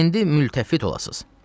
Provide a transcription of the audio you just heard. İndi mültəfid olasız.